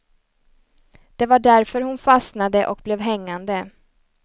Det var därför hon fastnade och blev hängande.